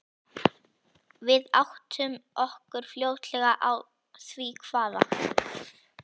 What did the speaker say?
Við áttum okkur fljótlega á því hvaða